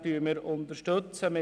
Buchstabe b unterstützen wir.